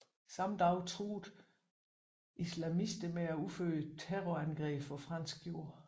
Samme dag truede islamister med at udføre terrorangreb på fransk jord